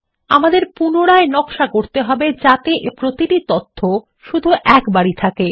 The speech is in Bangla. আমাদের পুনরায় নকশা করতে হবে যাতে প্রতিটি তথ্য শুধু একবারই থাকে